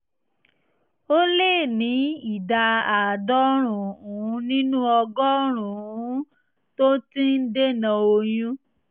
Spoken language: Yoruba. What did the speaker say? ó lé ní ìdá àádọ́rùn-ún nínú ọgọ́rùn-ún tó ti ń dènà oyún